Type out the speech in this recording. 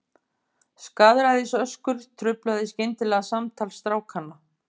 Skaðræðisöskur truflaði skyndilega samtal strákanna.